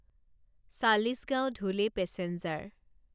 Chalisgaon Dhule passenger